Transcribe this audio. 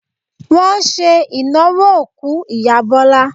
Wọn ṣe ìnáwó òkú ìyá Bọ́lá.